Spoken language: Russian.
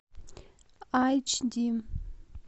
айч ди